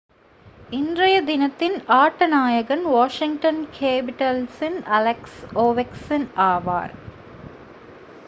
இன்றைய தினத்தின் ஆட்ட நாயகன் வாஷிங்டன் கேபிடல்ஸின் அலெக்ஸ் ஓவெச்கின் ஆவார்